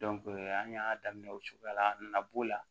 an y'a daminɛ o cogoya la a nana b'o la